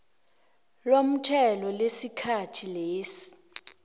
lomthelo lesikhathi lesi